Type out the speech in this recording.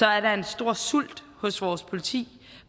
er der en stor sult hos vores politi